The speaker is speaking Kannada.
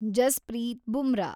ಜಸ್ಪ್ರೀತ್ ಬುಮ್ರಾ